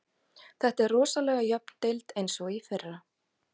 Þetta er rosalega jöfn deild eins og í fyrra.